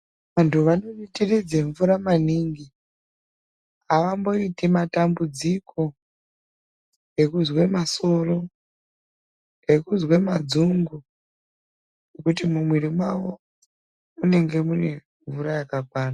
Vantu vanoditiridze mvura maningi, avamboiti matambudziko, ekuzwe masoro, ekuzwe madzungu, kuti mumwiri mwavo munenge mune mvura yakakwana.